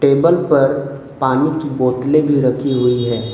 Table पर पानी की बोतले भी रखी हुई है।